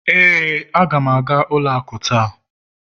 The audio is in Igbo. ee, aga m aga ụlọ akụ taa